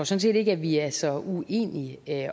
set ikke at vi er så uenige